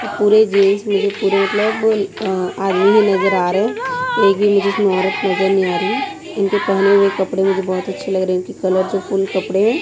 और पूरे जींस मुझे पूरे मतलब अह आदमी ही नजर आ रहे हैं एक भी मुझे इसमें औरत नजर नहीं आ रही इनके पहने हुए कपड़े मुझे बहुत अच्छे लग रहे हैं कि कलर जो फुल कपड़े हैं।